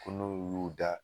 Ko n'u y'u da